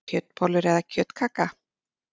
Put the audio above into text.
Kjötbollur eða kjötkaka